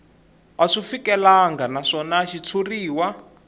a swi fikelelangi naswona xitshuriwa